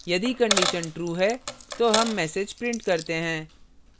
यदि condition true है तो हम message print करते हैं